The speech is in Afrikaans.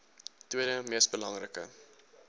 tweede mees belangrike